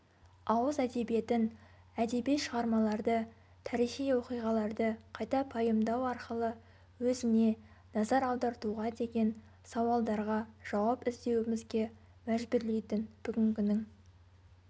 ауыз әдебиетін әдеби шығармаларды тарихи оқиғаларды қайта пайымдау арқылы өзіне назар аудартуға деген сауалдарға жауап іздеуімізге мәжбүрлейтін бүгінгінің